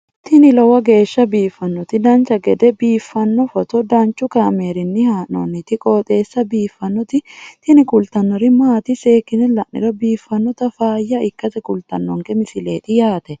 tini lowo geeshsha biiffannoti dancha gede biiffanno footo danchu kaameerinni haa'noonniti qooxeessa biiffannoti tini kultannori maatiro seekkine la'niro biiffannota faayya ikkase kultannoke misileeti yaate